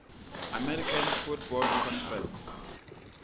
american football conference